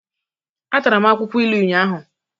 Ata m akwukwo ilu ụnyahụ